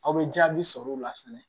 Aw bɛ jaabi sɔrɔ o la fɛnɛ